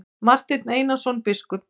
Marteinn Einarsson biskup!